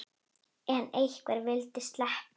En hverju vildi ég sleppa?